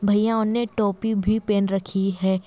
भैयाओं ने टोपी भी पहन रखी है।